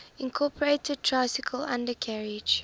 incorporated tricycle undercarriage